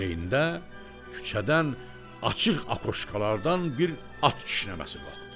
Bu heyndə küçədən açıq apoşkalardan bir at kişnəməsi qalxdı.